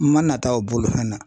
N ma nata u bolofɛn na